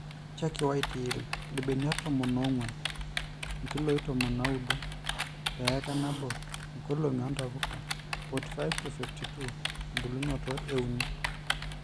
chalky white yield: irbenia tomon oonguan ( irkiloi ntomini naudo) te eika too nkoloni oontapuka: 45-52 ebulunoto: euni